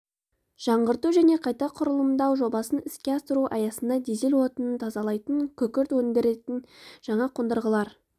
жаңғырту және қайта құрылымдау жобасын іске асыру аясында дизель отынын тазалайтын күкірт өндіретін жаңа қондырғылар